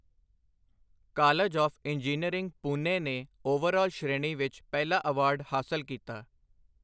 college of engineering Pune ਨੇ overall ਸ਼੍ਰੇਣੀ ਵਿਚ ਪਹਿਲਾ ਐਵਾਰਡ ਹਾਸਲ ਕੀਤਾ